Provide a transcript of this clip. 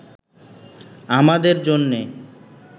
আমাদের জন্যে